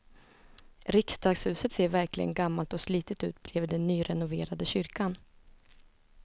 Riksdagshuset ser verkligen gammalt och slitet ut bredvid den nyrenoverade kyrkan.